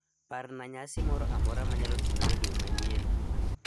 Parna nyasi moro amora ma nyalo timore dwe manyien.